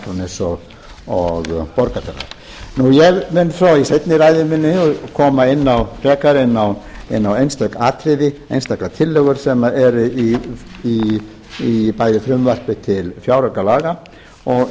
akraness og borgarfjarðar ég mun svo í seinni ræðu minni koma frekar inn á einstök atriði einstaka tillögur sem eru í bæði frumvarpi til fjáraukalaga og